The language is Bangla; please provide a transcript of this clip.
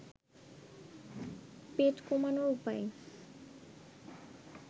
পেট কমানোর উপায়